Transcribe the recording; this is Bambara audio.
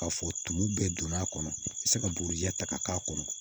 K'a fɔ tumu bɛɛ donn'a kɔnɔ i bɛ se ka buguri jɛ ta ka k'a kɔnɔ